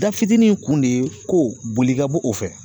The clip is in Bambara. Da fitinin kun de ko boli ka bɔ o fɛ